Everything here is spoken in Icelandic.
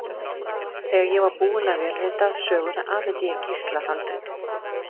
Þegar ég var búin að vélrita söguna afhenti ég Gísla handritið.